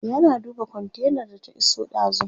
yana duba kontainar da ta iso dazun